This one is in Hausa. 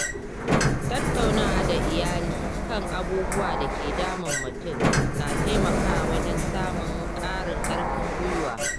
Tattaunawa da iyali kan abubuwan da ke damun mutum na taimakawa wajen samun ƙarin ƙarfin gwiwa.